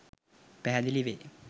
පැහැදිලි වේ.